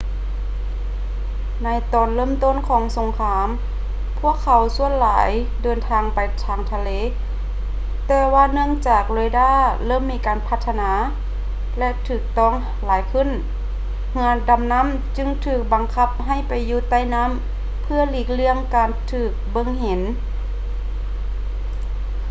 ໃນຕອນເລີ່ມຕົ້ນຂອງສົງຄາມພວກເຂົາສ່ວນຫຼາຍເດີນທາງໄປເທິງທະເລ ແຕ່ວ່າເນື່ອງຈາກເຣດ້າເລີ່ມມີການພັດທະນາ ແລະ ຖືກຕ້ອງຫຼາຍຂຶ້ນ ເຮືອດໍານໍ້າຈຶ່ງຖືກບັງຄັບໃຫ້ໄປຢູ່ໃຕ້ນໍ້າເພື່ອຫຼີກລ່ຽງການຖືກເບິ່ງເຫັນ